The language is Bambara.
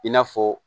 I n'a fɔ